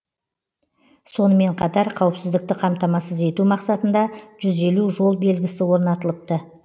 сонымен қатар қауіпсіздікті қамтамасыз ету мақсатында жүз елу жол белгісі орнатылыпты